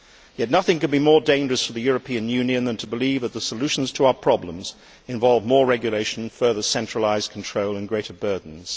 Yet nothing can be more dangerous for the European Union than to believe that the solutions to our problems involve more regulation, further centralised control and greater burdens.